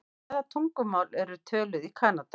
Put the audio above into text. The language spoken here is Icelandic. Hvaða tungumál eru töluð í Kanada?